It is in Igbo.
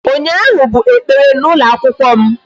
Ụnyaahụ bụ ekpere n'ụlọ akwụkwọ m